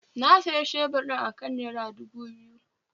Na sayi shebur ɗin akan nera dubu biyu